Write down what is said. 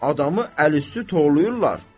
Adamı əl-üstü torlayırlar.